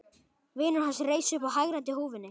Vinur hans reis upp og hagræddi húfunni.